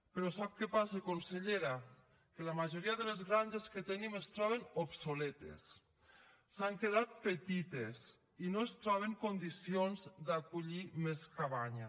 però sap que passa consellera que la majoria de les granges que tenim es troben obsoletes s’han quedat petites i no es troben en condicions d’acollir més cabanya